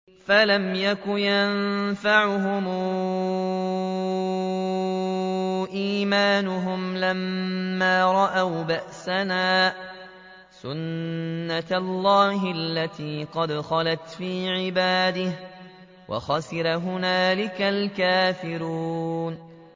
فَلَمْ يَكُ يَنفَعُهُمْ إِيمَانُهُمْ لَمَّا رَأَوْا بَأْسَنَا ۖ سُنَّتَ اللَّهِ الَّتِي قَدْ خَلَتْ فِي عِبَادِهِ ۖ وَخَسِرَ هُنَالِكَ الْكَافِرُونَ